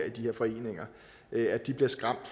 i de her foreninger bliver skræmt